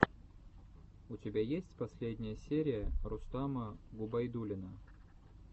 у тебя есть последняя серия рустама губайдуллина